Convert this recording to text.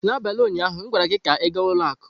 N'abalị ụnyaahụ m gwara gị ka ị gaa ụlọ akụ!